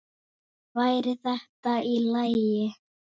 Væri þetta í lagi?